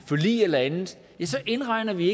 forlig eller andet så indregner vi